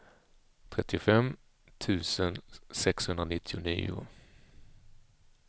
trettiofem tusen sexhundranittionio